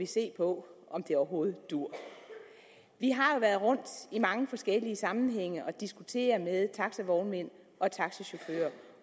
se på om det overhovedet duer vi har jo været rundt i mange forskellige sammenhænge og diskutere med taxavognmænd og taxachauffører